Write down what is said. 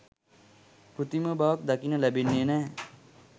කෘත්‍රිම බවක් දකින්න ලැබෙන්නෙ නෑ.